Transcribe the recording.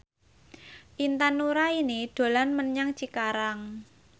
Intan Nuraini dolan menyang Cikarang